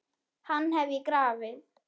Hann hef ég grafið.